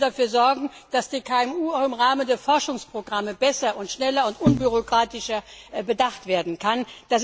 Wir müssen dafür sorgen, dass die KMU auch im Rahmen der Forschungsprogramme besser, schneller und unbürokratischer bedacht werden können.